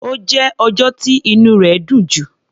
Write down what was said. Ó jẹ́ ọjọ́ tí inú rẹ̀ dùn jù.